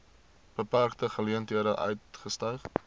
beperkte geleenthede uitgestyg